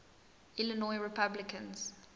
illinois republicans